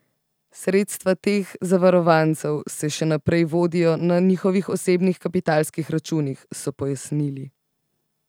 Sredstva teh zavarovancev se še naprej vodijo na njihovih osebnih kapitalskih računih, so pojasnili.